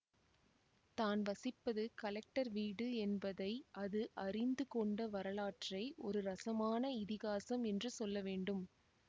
தான் வசிப்பது கலெக்டர் வீடு என்பதை அது அறிந்து கொண்ட வரலாற்றை ஒரு ரசமான இதிகாசம் என்று சொல்ல வேண்டும்